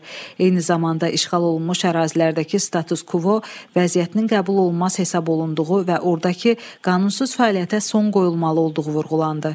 Eyni zamanda işğal olunmuş ərazilərdəki status kvo vəziyyətinin qəbul olunmaz hesab olunduğu və ordakı qanunsuz fəaliyyətə son qoyulmalı olduğu vurğulandı.